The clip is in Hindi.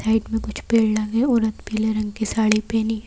साइड में कुछ पेड़ लगे उन पीले रंग की साड़ी पहनी है।